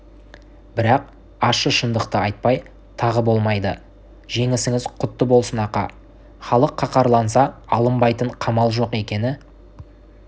бірақ ащы шындықты айтпай тағы болмайды жеңісіңіз құтты болсын ақа халық қаһарланса алынбайтын қамал жоқ екені